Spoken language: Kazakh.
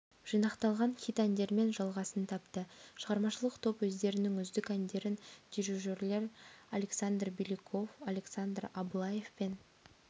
жинақталған хит әндермен жалғасын тапты шығармашылық топ өздерінің үздік әндерін дирижерлер александр беляков александр абылаевпен